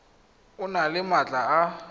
o nne le maatla a